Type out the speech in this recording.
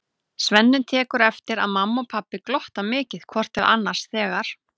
Svenni tekur eftir að mamma og pabbi glotta mikið hvort til annars þegar